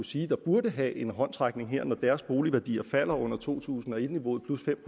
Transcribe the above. sige burde have en håndsrækning her når deres boligværdier falder under to tusind og et niveauet plus fem